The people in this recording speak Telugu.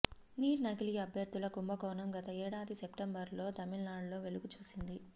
నీట్ నకిలీ అభ్యర్థుల కుంభకోణం గత ఏడాది సెప్టెంబర్లో తమిళనాడులో వెలుగుచూసింది